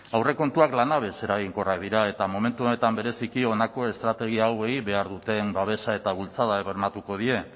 aurrekontuak lanabes eraginkorrak dira eta momentu honetan bereziki honako estrategia hauei behar duten babesa eta bultzada bermatuko die